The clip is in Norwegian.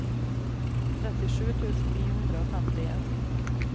trettisju tusen ni hundre og femtien